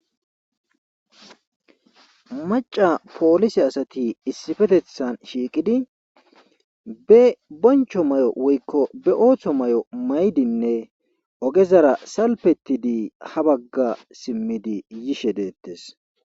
maca poolise asati issipetethan shiiqidi be bonchcho may'o woykko be ooththo may'o may'dinne oogezara salpetidi ha bagga simmidi yiishe deettes